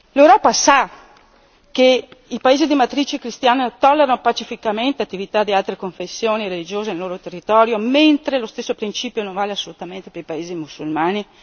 L'Europa sa che i paesi di matrice cristiana tollerano pacificamente attività di altre confessioni religiose nel loro territorio mentre lo stesso principio non vale assolutamente per i paesi musulmani?